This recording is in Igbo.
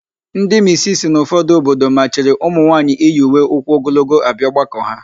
Ndị misisi n'ụfọdụ obodo machiri ụmụnwaanyị iyi uwe ụkwụogologo abịa ọgbakọ ha.